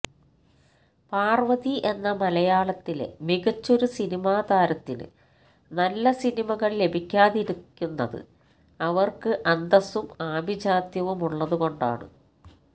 പാർവതി എന്ന മലയാളത്തിലെ മികച്ചൊരു സിനിമാ താരത്തിന് നല്ല സിനിമകൾ ലഭിക്കാതിരിക്കുന്നത് അവർക്ക് അന്തസും ആഭിചാത്യവുമുള്ളതുകൊണ്ടാണ്